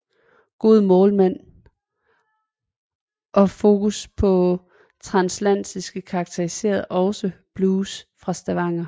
Gode målmænd og fokus på transatlantisk karakteriserede også blues fra Stavanger